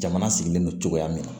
Jamana sigilen don cogoya min na